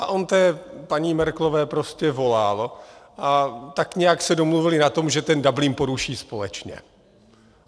A on té paní Merkelové prostě volal a tak nějak se domluvili na tom, že ten Dublin poruší společně.